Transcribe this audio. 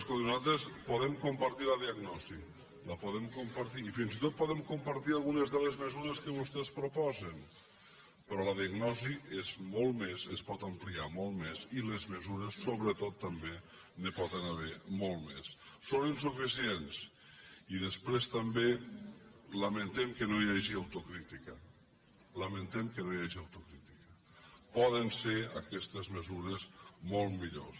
escolti nosaltres podem compartir la diagnosi la podem compartir i fins i tot podem compartir algunes de les mesures que vostès proposen però la diagnosi és molt més es pot ampliar molt més i de mesures sobretot també n’hi poden haver moltes més són insuficients i després també lamentem que no hi hagi autocrítica lamentem que no hi hagi autocrítica poden ser aquestes mesures molt millors